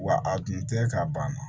Wa a dun tɛ ka ban